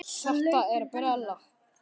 Þetta er brella.